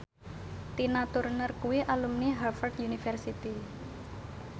Tina Turner kuwi alumni Harvard university